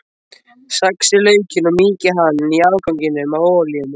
Saxið laukinn og mýkið hann í afganginum af olíunni.